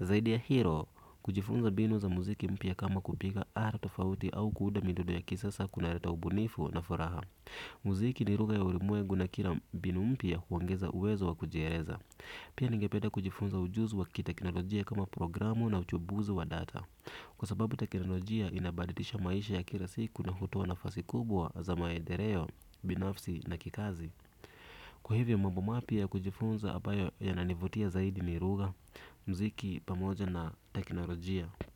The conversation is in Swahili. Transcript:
Zaidi ya hilo, kujifunza mbinu za muziki mpya kama kupiga ala tofauti au kuunda midundo ya kisasa kunaleta ubunifu na furaha. Muziki ni lugha ya ulimwengu na kila mbinu mpya huongeza uwezo wa kujieleza. Pia ningependa kujifunza ujuzi wa kiteknolojia kama programu na uchumbuzi wa data. Kwa sababu teknolojia inabadilisha maisha ya kila siku na hutoa nafasi kubwa za maendeleo binafsi na kikazi. Kwa hivyo mambo mapya ya kujifunza ambayo yananivutia zaidi ni lugha, mziki pamoja na teknolojia.